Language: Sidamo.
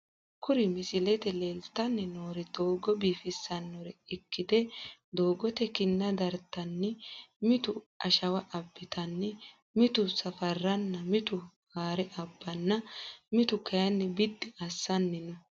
Kuri misilete leeltani noori doogo bifisanore ikite doogote kinna dirtani mittu ashawa abitani mittu safarana mitu haare abanna mituu kina bidi asani no.